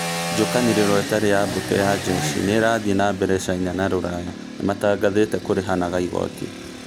Njũkanĩrĩro ĩtarĩ ya mbũtũ ya jeshi nĩrathie na mbere China na Rũraya nĩmatangathĩte kũrĩhanaga igoti